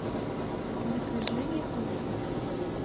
закажи еду